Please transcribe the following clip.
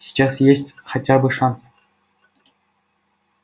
сейчас есть хотя бы шанс